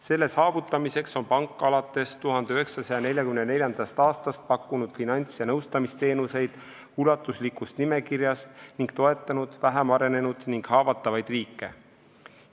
Selle saavutamiseks on pank alates 1944. aastast pakkunud ulatusliku nimekirja alusel finants- ja nõustamisteenuseid ning toetanud vähem arenenud ning haavatavaid riike.